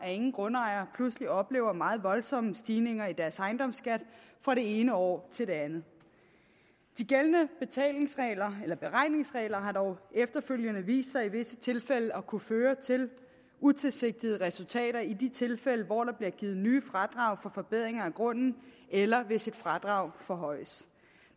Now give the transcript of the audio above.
at ingen grundejere pludselig oplever meget voldsomme stigninger i deres ejendomsskat fra det ene år til det andet de gældende beregningsregler har dog efterfølgende i visse tilfælde at kunne føre til utilsigtede resultater i de tilfælde hvor der bliver givet nye fradrag for forbedringer af grunden eller hvis et fradrag forhøjes